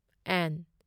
and